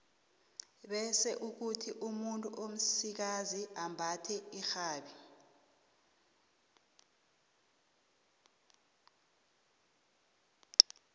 bese kuthi umuntu omsikazi ambathe irhabi